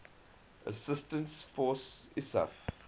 assistance force isaf